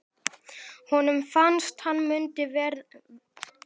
Honum fannst hann mundi verða þreyttur það sem eftir væri ævinnar.